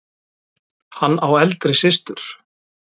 Hann á eldri systur.